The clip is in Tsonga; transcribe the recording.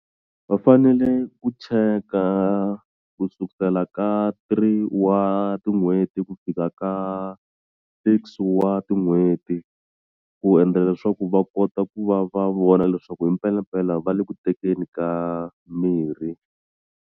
Va fanele ku cheka ku sukusela ka three wa tin'hweti ku fika ka six wa tin'hweti ku endlela leswaku va kota ku va va vona leswaku himpelampela va le ku tekeni ka mirhi.